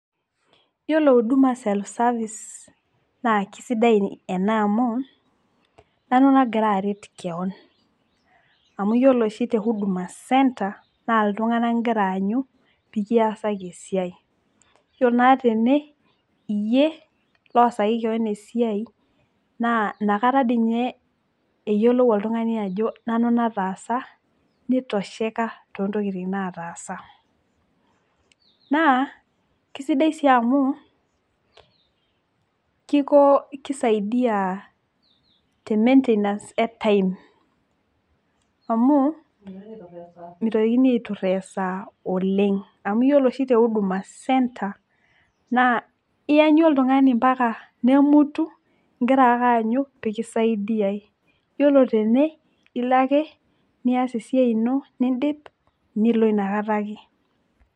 Yiolo huduma self service naa kisidai ina amu nanu nagira aret kewon amu yiolo oshi tehuduma centre naa iltunganak ingira aanyu pekiasaki esiai , yiolo naa tene iyie loosaki kewon esiai naa inakata dii ninye eyiolou oltungani ajo nanu nataasa nitosheka too ntokitin nataasa naa kisidai sii amu kiko kisaidia tememaintainance etime amu mitokini aituraa esaa oleng amu yiolo oshi tehuduma centre naa iyanyu oltungani mpaka nemutu ingira ake aanyu pikisaidiay. Yiolo tene ilo ake nias esiai ino, nindip nilo inakata ake.